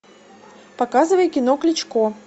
показывай кино кличко